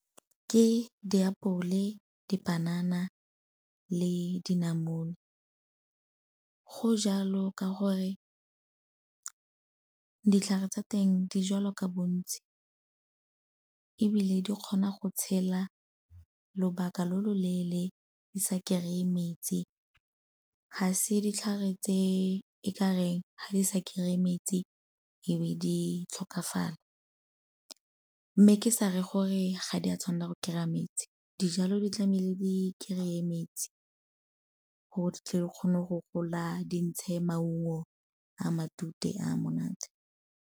Ke diapole, dipanana le dinamune. Go jalo ka gore ditlhare tsa teng di jalwa ka bontsi ebile di kgona go tshela lobaka lo lo leele di sa kry-e metsi. Ga se ditlhare tse e kareng fa di sa kry-e metsi e be di tlhokafala, mme ke sa reye gore ga di a tshwanela go kry-a metsi. Dijalo di tlamehile di kry-e metsi gore di tle di kgone go gola di ntshe maungo a matute a monate.